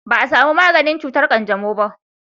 ba a samu maganin cutar kanjamau ba